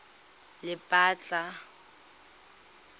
lephatla